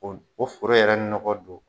o foro yɛrɛ nɔgɔ don